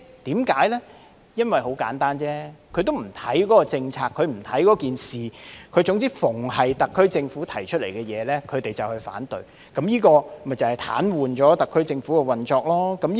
很簡單，因為他們不是針對那些政策或事宜，只要是特區政府提出來的事宜或政策，他們便會反對，務求癱瘓特區政府的運作。